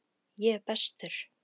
Ég er bestur!